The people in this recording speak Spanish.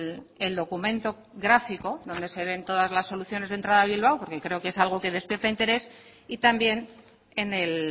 el documento gráfico donde se ven todas las soluciones de entrada a bilbao porque creo que es algo que despierta interés y también en el